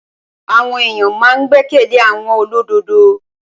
Àwọn èyàn ma n gbẹ́kẹ̀lé àwọn olódodo.